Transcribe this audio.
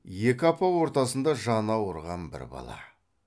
екі апа ортасында жаны ауырған бір бала